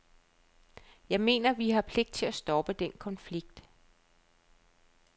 Jeg mener, at vi har pligt til at stoppe den konflikt.